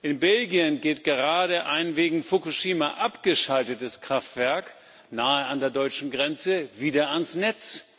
In Belgien geht gerade ein wegen Fukushima abgeschaltetes Kraftwerk nahe an der deutschen Grenze wieder ans Netz.